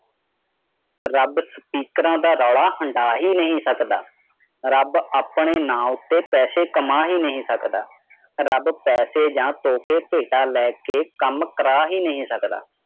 rub speaker ਰੋਲਾ ਹਾਡਾਹ ਹੀ ਨਹੀਂ ਸਕਤਾ ਰਬ ਆਪਣਾ ਨਾਮ ਤੇ ਪੈਸਾ ਕਮਾ ਹੀ ਨਹੀਂ ਸਕਦਾ ਰਬ ਪੈਸੇ ਯਾ ਟਾਕੇ ਪਹਾਟਾ ਲੈਕੇ ਕਾਮ ਕਾਰਾ ਹੀ ਨਹੀਂ ਸਕਤਾ